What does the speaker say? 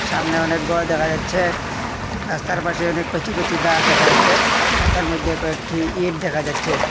সামনে অনেক ঘর দেখা যাচ্ছে রাস্তার পাশে অনেক কচি কচি ঘাস দেখা যাচ্ছে রাস্তার মধ্যে কয়েকটি ইট দেখা যাচ্ছে।